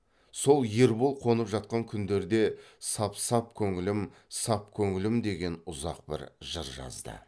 сол ербол қонып жатқан күндерде сап сап көңілім сап көңілім деген ұзақ бір жыр жазды